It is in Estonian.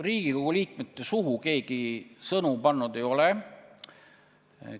Riigikogu liikmete suhu keegi sõnu pannud ei ole.